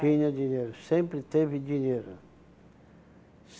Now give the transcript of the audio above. dinheiro, sempre teve dinheiro.